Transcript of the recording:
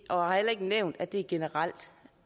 og har heller ikke nævnt at det generelt